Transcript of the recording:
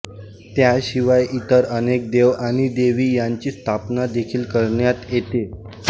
त्याशिवाय इतर अनेक देव आणि देवी यांची स्थापना देखील करण्यात येते